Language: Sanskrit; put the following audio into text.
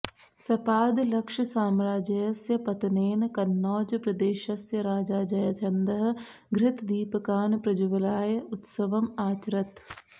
सपादलक्षसाम्राज्यस्य पतनेन कन्नौजप्रदेशस्य राजा जयचन्दः घृतदीपकान् प्रज्वाल्य उत्सवम् आचरत्